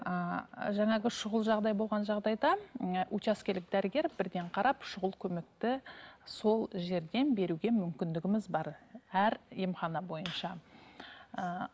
ііі жаңағы шұғыл жағдай болған жағдайда ы учаскелік дәрігер бірден қарап щұғыл көмекті сол жерден беруге мүмкіндігіміз бар әр емхана бойынша ііі